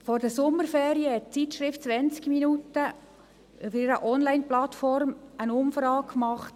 Vor den Sommerferien hat die Zeitung «20 Minuten» auf ihrer Onlineplattform eine Umfrage gemacht.